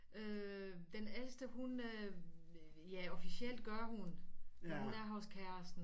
Øh den ældste hun øh ja officielt gør hun men hun er så kæresten